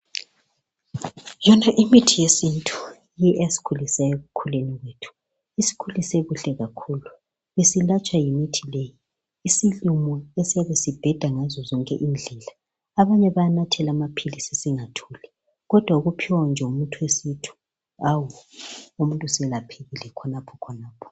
Yona imithi yesintu yiyo eyasikhulisayo ekukhuleni kwethu, isikhulise kahle kakhulu. Besilatshwa yimithi leyi, isilumo esiyabe sibheda ngazo zonke indlela abanye bayanathela amaphilisi singathuli, kodwa ukuphiwa nje umuthi wesintu, awu! umuntu selaphekile khonapho khonapho